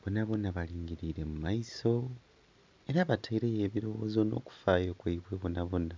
Bonabona balingiliire mu maiso era bataileyo ebilowozo nh'okufayo kwaibwe bonabona.